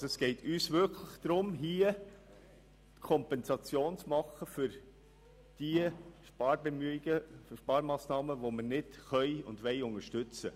Es geht uns darum, hier eine Kompensation für die Sparmassnahmen zu vorzunehmen, die wir nicht unterstützen können und wollen.